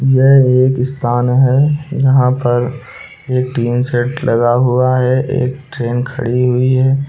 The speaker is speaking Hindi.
यह एक स्थान है जहां पर एक सेट लगा हुआ है एक ट्रेन खड़ी हुई है।